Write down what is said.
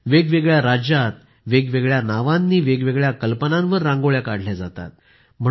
वेगवेगळ्या राज्यांत वेगवेगळ्या नावांनी वेगवेगळ्या कल्पनांवर रांगोळ्या काढल्या जातात